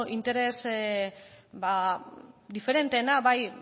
interes ba diferenteena